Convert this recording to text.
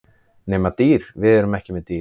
Nema dýr, við erum ekki með dýr.